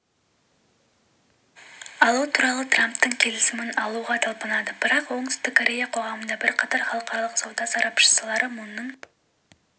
алу туралы трамптың келісімін алуға талпынады бірақ оңтүстік корея қоғамында бірқатар халықаралық сауда сарапшылары мунның